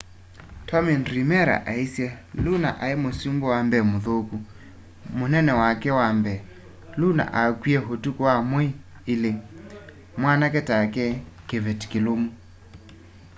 tommy dreamera aĩsye lũna aĩ mũsũmbĩ wa mbee mũthũkũ. mũnene wake wa mbee. lũna akwĩe ũtũkũ wa mweĩ ĩlĩ.mwanake take.kĩvetĩ kĩlũmũ.